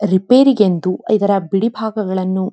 repair ಗೆಂದು ಇದರ ಬಿಡಿ ಭಾಗಗಳನ್ನು --